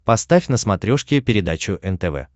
поставь на смотрешке передачу нтв